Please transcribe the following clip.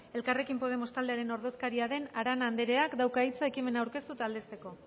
elkarrekin podemos taldearen ordezkaria den arana andreak dauka hitza ekimena aurkeztu eta aldezteko